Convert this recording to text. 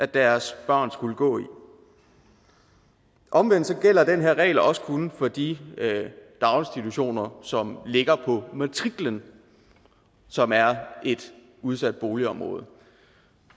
deres børn skulle gå i omvendt gælder den her regel også kun for de daginstitutioner som ligger på en matrikel som er et udsat boligområde